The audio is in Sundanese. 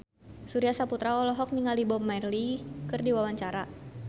Surya Saputra olohok ningali Bob Marley keur diwawancara